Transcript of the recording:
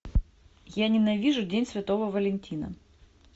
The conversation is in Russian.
я ненавижу день святого валентина